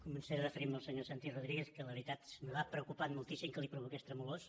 començaré referint me al senyor santi rodríguez que la veritat m’ha preocupat moltíssim que li provoqués tremolors